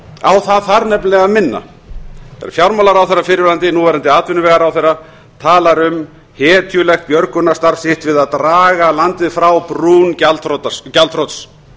á það þarf nefnilega að vinna fyrrverandi fjármálaráðherra núverandi atvinnuvegaráðherra talar um hetjulegt björgunarstarf sitt við að draga landið frá brún gjaldþrots